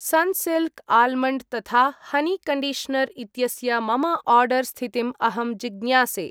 Sunsilk almond तथा honey conditioner इत्यस्य मम आर्डर् स्थितिम् अहं जिज्ञासे।